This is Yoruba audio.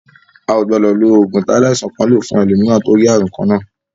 A ò gbọdọ̀ lo ògùn tí aláìsàn kan lò fún ẹlòmíràn tó ń rí àmì kan náà.